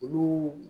Olu